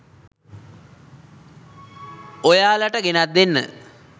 ඔයාලට ගෙනැත් දෙන්න.